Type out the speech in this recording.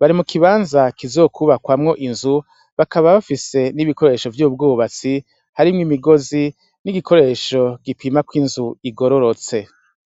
bari mu kibanza kizokwuba kwamwo inzu, bakaba bafise n'ibikoresho vy'ubwubatsi harimwo imigobozi n'igikoresho gipimako inzu igororotse.